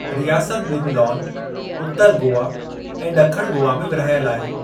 रियासत ॿिनि लॉन उतरु गोवा ऐं ॾिखणु गोवा में विर्हायल आहे।